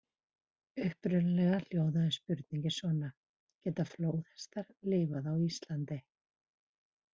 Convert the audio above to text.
Upprunalega hljóðaði spurningin svona: Geta flóðhestar lifað á Íslandi?